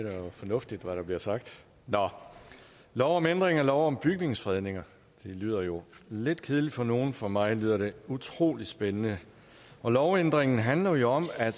jo fornuftigt hvad der bliver sagt nå lov om ændring af lov om bygningsfredning lyder jo lidt kedeligt for nogle for mig lyder det utrolig spændende lovændringen handler jo om at